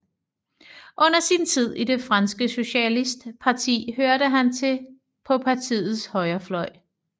Under sin tid i det franske Socialistparti hørte han til på partiets højrefløj